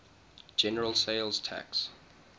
general sales tax